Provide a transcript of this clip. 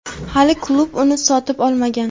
hali klub uni sotib olmagan.